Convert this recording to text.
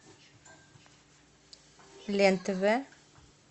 лен тв